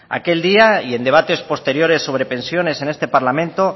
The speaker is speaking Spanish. aquel día y en debates posteriores sobre pensiones en este parlamento